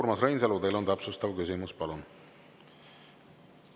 Urmas Reinsalu, teil on täpsustav küsimus, palun!